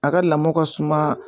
A ka lamɔ ka suma